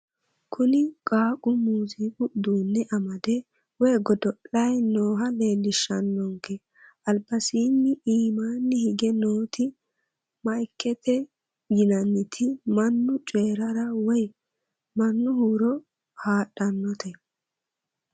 Kuni qaaqu muziiqu uduune amade woye godo'layi nooha leellishshanonke albasiini imaani hige nooti maikete yinanniti mannu coyiiraare woye mannu huuro haadhannote.